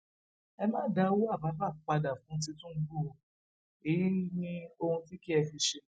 ẹ má dá owó àbábà padà fún tìtúngbù o èyí ní ohun tí kí ẹ fi ṣe